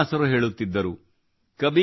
ಕಬೀರ್ ದಾಸರು ಹೇಳುತ್ತಿದ್ದರು